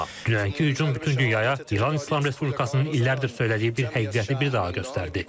Dünənki hücum bütün dünyaya İran İslam Respublikasının illərdir söylədiyi bir həqiqəti bir daha göstərdi.